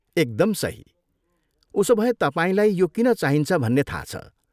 एकदम सही, उसोभए तपाईँलाई यो किन चाहिन्छ भन्ने थाहा छ।